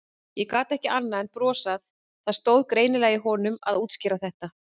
Ég gat ekki annað en brosað, það stóð greinilega í honum að útskýra þetta.